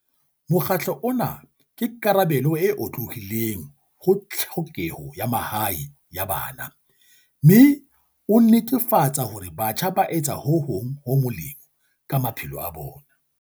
Mokgatlo ona ke karabelo e otlolohileng ho tlhokeho ya mahae ya bana mme o netefatsa hore batjha ba etsa ho hong ho molemo ka ma phelo a bona.